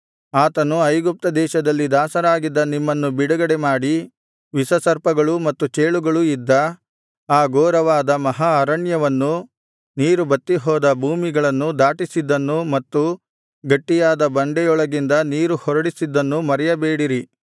ಆತನು ಐಗುಪ್ತ ದೇಶದಲ್ಲಿ ದಾಸರಾಗಿದ್ದ ನಿಮ್ಮನ್ನು ಬಿಡುಗಡೆಮಾಡಿ ವಿಷಸರ್ಪಗಳೂ ಮತ್ತು ಚೇಳುಗಳೂ ಇದ್ದ ಆ ಘೋರವಾದ ಮಹಾ ಅರಣ್ಯವನ್ನೂ ನೀರು ಬತ್ತಿಹೋದ ಭೂಮಿಗಳನ್ನೂ ದಾಟಿಸಿದ್ದನ್ನು ಮತ್ತು ಗಟ್ಟಿಯಾದ ಬಂಡೆಯೊಳಗಿಂದ ನೀರು ಹೊರಡಿಸಿದ್ದನ್ನು ಮರೆಯಬೇಡಿರಿ